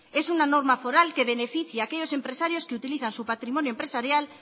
es una norma foral que beneficia a aquellos empresarios que utilizan su patrimonio empresarial